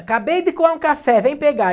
Acabei de coar um café, vem pegar.